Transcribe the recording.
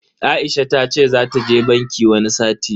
Aisha tace zata je banki wani sati.